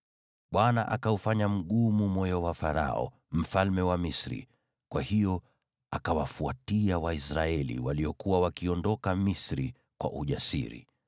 Bwana akaufanya mgumu moyo wa Farao, mfalme wa Misri, kwa hiyo akawafuatia Waisraeli, waliokuwa wakiondoka Misri kwa ujasiri.